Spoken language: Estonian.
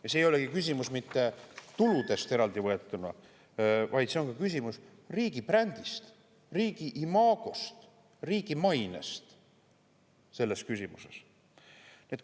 Ja see ei olegi eraldi võetuna tulude küsimus, vaid see on riigi brändi, riigi imago, riigi maine küsimus.